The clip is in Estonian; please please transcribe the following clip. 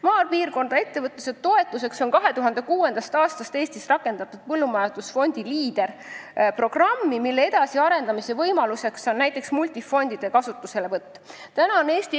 Maapiirkonna ettevõtluse toetamiseks on Eestis 2006. aastast rakendatud põllumajandusfondi Leader-programmi, mille edasiarendamise üks võimalus on näiteks multifondide kasutuselevõtt.